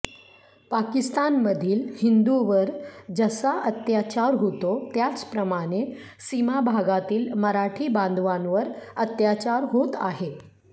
पाकिस्तानमधील हिंदूंवर जसा अत्याचार होतो त्याचप्रमाणे सीमाभागातील मराठी बांधवांवर अत्याचार होत आहे